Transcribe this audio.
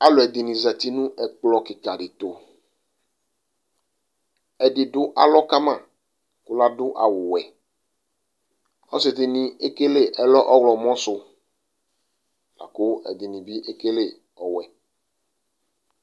Alʋɛdinɩ zati nʋ ɛkplɔ kɩkadɩ tʋ ,ɛdɩ dʋ alɔ ka ma kʋ ladʋ awʋwɛ Asɩ dɩnɩ ekele ɛlɔ ɔɣlɔmɔ sʋ lakʋ ɛdɩnɩ bɩ ekele ɔwɛ